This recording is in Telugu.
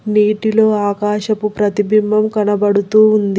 నీటిలో ఆకాశపు ప్రతిబింబం కనబడుతూ ఉంద్--